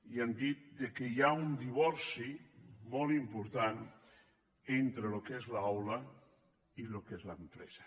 i han dit que hi ha un divorci molt important entre el que és l’aula i el que és l’empresa